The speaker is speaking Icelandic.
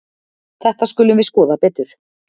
Þetta skulum við skoða betur.